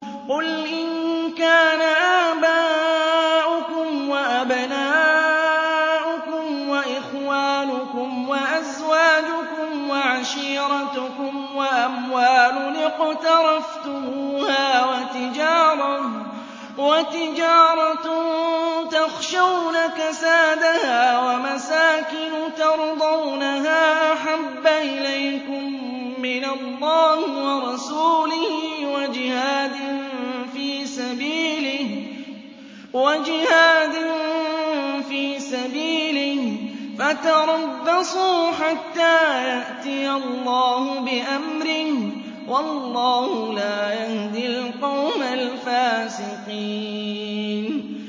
قُلْ إِن كَانَ آبَاؤُكُمْ وَأَبْنَاؤُكُمْ وَإِخْوَانُكُمْ وَأَزْوَاجُكُمْ وَعَشِيرَتُكُمْ وَأَمْوَالٌ اقْتَرَفْتُمُوهَا وَتِجَارَةٌ تَخْشَوْنَ كَسَادَهَا وَمَسَاكِنُ تَرْضَوْنَهَا أَحَبَّ إِلَيْكُم مِّنَ اللَّهِ وَرَسُولِهِ وَجِهَادٍ فِي سَبِيلِهِ فَتَرَبَّصُوا حَتَّىٰ يَأْتِيَ اللَّهُ بِأَمْرِهِ ۗ وَاللَّهُ لَا يَهْدِي الْقَوْمَ الْفَاسِقِينَ